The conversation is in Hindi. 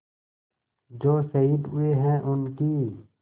जो शहीद हुए हैं उनकी